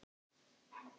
Og við hvað þá?